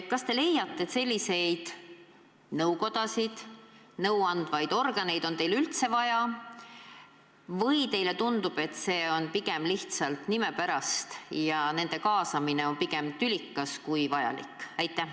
Kas te leiate, et selliseid nõukodasid ja muid nõuandvaid kogusid on teil üldse vaja, või teile tundub, et see on pigem lihtsalt linnukese pärast ja nende kaasamine on pigem tülikas kui vajalik?